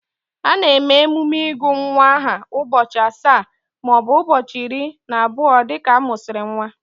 A na-eme emume ịgụ nwa aha ụbọchị asaa maọbụ ụbọchị iri na abụọ dịka a mụsịrị nwa